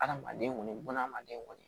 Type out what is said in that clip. Adamaden kɔni bununa hadamaden kɔni